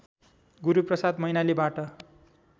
Guruprasad मैनालीबाट